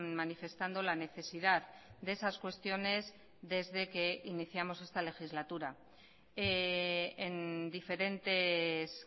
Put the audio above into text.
manifestando la necesidad de esas cuestiones desde que iniciamos esta legislatura en diferentes